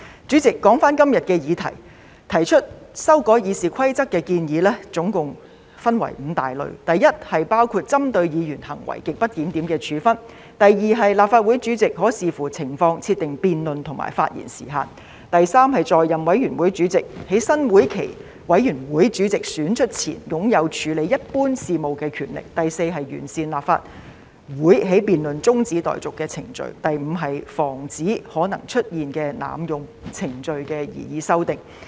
主席，說回今天的議題，提出修改《議事規則》的建議總共分為5類：第一，是包括針對議員行為極不檢點的處分；第二，是立法會主席可視乎情況，設定辯論和發言時限；第三，是在任委員會主席在新會期的委員會主席選出前，擁有處理一般事務的權力；第四，是完善立法會的辯論中止待續程序；及第五，是防止可能出現的濫用程序的擬議修訂。